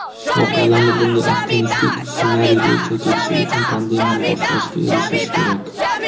voqealarning bunday optimistik ssenariy bo‘yicha ketishi uchun pandemiyani boshqarishga erishish kerak.